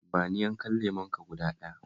Ba ni yankan lemonka guda ɗaya